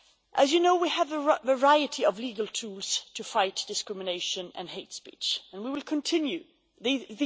As you know, we have a variety of legal tools to fight discrimination and hate speech, and we will continue to do so.